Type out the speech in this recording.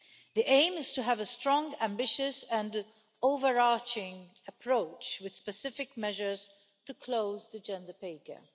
The aim is to have a strong ambitious and overarching approach, with specific measures to close the gender pay gap.